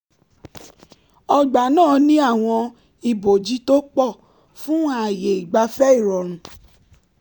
ọgbà náà ní àwọn ìbòji tó pọ̀ fún ààyè ìgbafẹ́ ìrọ̀rùn